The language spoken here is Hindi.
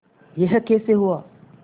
यह कैसे हुआ